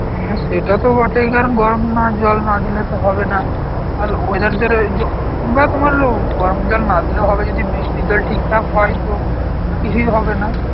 হ্যাঁ সেটা তো বটেই কারণ গরম না জল না দিলে তো হবে না, আল weather দের এই যে, বা তোমার উম গরম জল না দিলেও হবে যদি বৃষ্টির জল ঠিকঠাক হয় তো কিছুই হবে না